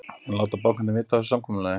En láta bankarnir vita af þessu samkomulagi?